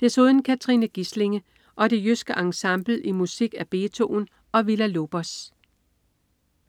Desuden Katrine Gislinge og Det jyske Ensemble i musik af Beethoven og Villa-Lobos